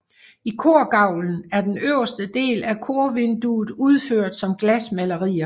I korgavlen er den øverste del af korvinduet udført som glasmalerier